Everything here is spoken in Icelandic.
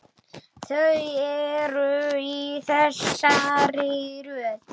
Þau eru í þessari röð: